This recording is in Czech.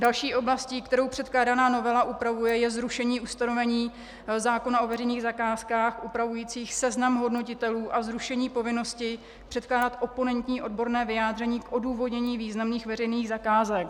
Další oblastí, kterou předkládaná novela upravuje, je zrušení ustanovení zákona o veřejných zakázkách upravujících seznam hodnotitelů a zrušení povinnosti předkládat oponentní odborné vyjádření k odůvodnění významných veřejných zakázek.